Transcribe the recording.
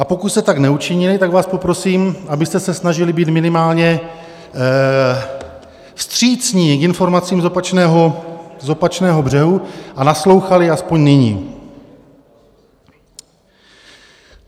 A pokud jste tak neučinili, tak vás poprosím, abyste se snažili být minimálně vstřícní k informacím z opačného břehu a naslouchali aspoň nyní.